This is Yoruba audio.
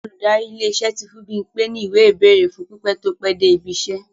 Olùdarí ilé-iṣẹ́ tí fún Bímpe ní ìwé-ìbẹ́ẹ̀rè fún pípẹ́ tó pẹ́ dé ibi-iṣẹ́.